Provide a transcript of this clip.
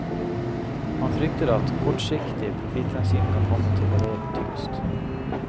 Han frykter at kortsiktig profitthensyn kan komme til å veie tyngst.